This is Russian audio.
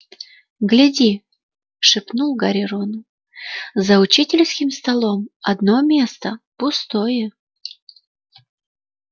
гляди шепнул гарри рону за учительским столом одно место пустое